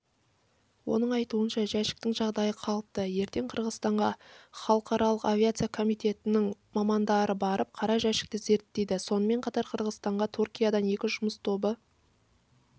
оның айтуынша жәшіктің жағдайы қалыпты ертең қырғызстанға халықаралық авиация комитетінен мамандарбарып қара жәшікті зерттейді сонымен қатар қырғызстанға түркиядан екі жұмыс тобы